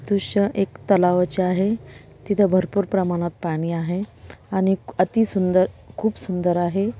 दृश्य एक तलावाचे आहे. तिथे भरपूर प्रमाणात पाणी आहे आणि अती सुंदर खुप सुंदर आहे.